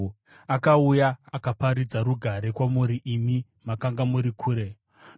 Akauya akaparidza rugare kwamuri imi makanga muri kure uye rugare kuna avo vakanga vari pedyo.